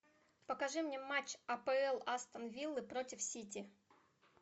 покажи мне матч апл астон виллы против сити